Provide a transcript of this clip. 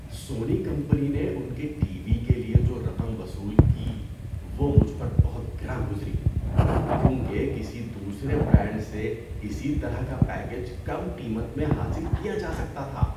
سونی company نے ان کے ٹی وی کے لیے جو رقم وصول کی وہ مجھ پر بہت گراں گزری کیونکہ کسی دوسرے برانڈ سے اسی طرح کا پیکیج کم قیمت میں حاصل کیا جا سکتا تھا۔